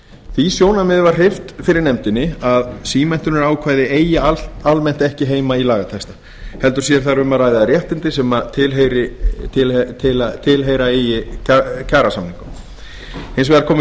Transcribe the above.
því sjónarmiði var hreyft fyrir nefndinni að símenntunarákvæði eigi almennt ekki heima í lagatexta heldur sé þar um að ræða réttindi sem tilheyra eigi kjarasamningum hins vegar komu